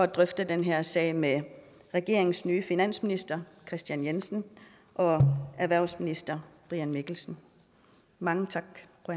drøfte den her sag med regeringens nye finansminister og erhvervsminister mange tak